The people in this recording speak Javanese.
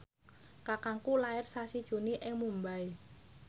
kakangku lair sasi Juni ing Mumbai